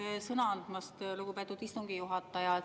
Aitäh sõna andmast, lugupeetud istungi juhataja!